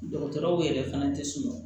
Dɔgɔtɔrɔw yɛrɛ fana tɛ sɔn